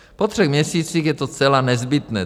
Po třech měsících je to zcela nezbytné.